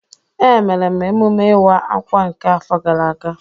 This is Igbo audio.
Emere m emume iwa akwa nke afo gara aga.